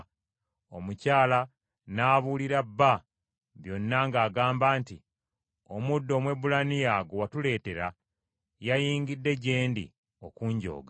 Omukyala n’abuulira bba byonna ng’agamba nti, “Omuddu Omwebbulaniya gwe watuleetera, yayingidde gye ndi okunjooga.